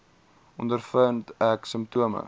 ondervind ek simptome